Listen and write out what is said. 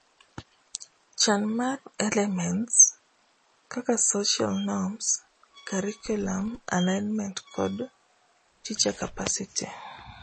Chan mar elements kaka social norms, curriculum alignment kod teacher capacity